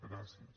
gràcies